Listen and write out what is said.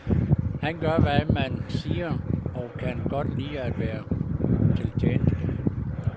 Han gør, hvad man siger og kan godt lide at være til tjeneste.